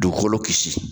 Dugukolo kisi